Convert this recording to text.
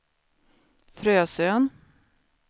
Frösön